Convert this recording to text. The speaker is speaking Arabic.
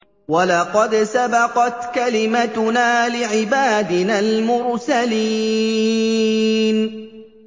وَلَقَدْ سَبَقَتْ كَلِمَتُنَا لِعِبَادِنَا الْمُرْسَلِينَ